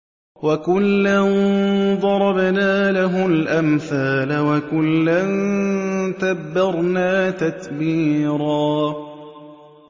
وَكُلًّا ضَرَبْنَا لَهُ الْأَمْثَالَ ۖ وَكُلًّا تَبَّرْنَا تَتْبِيرًا